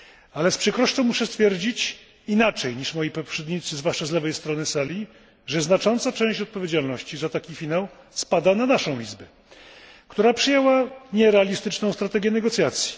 Ale z przykrością muszę stwierdzić, inaczej niż moi poprzednicy, zwłaszcza z lewej strony sali, że znacząca część odpowiedzialności za taki finał spada na naszą Izbę, która przyjęła nierealistyczną strategię negocjacji.